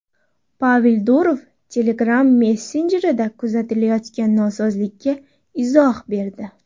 Pavel Durov Telegram messenjerida kuzatilayotgan nosozlikka izoh berdi.